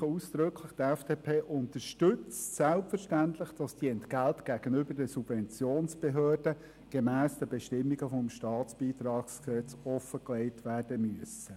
Ich unterstreiche aber ausdrücklich: Die FDP unterstützt selbstverständlich, dass diese Entgelte gegenüber den Subventionsbehörden gemäss den StBG-Bestimmungen offengelegt werden müssen.